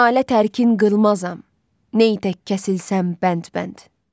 Nalə tərkin qılmazam, ney tək kəsilsəm bənd-bənd.